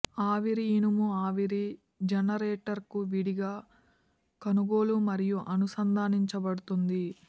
ఆవిరి ఇనుము ఆవిరి జనరేటర్కు విడిగా కొనుగోలు మరియు అనుసంధానించబడుతుంది